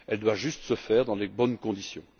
Elle doit juste se faire dans les bonnes conditions.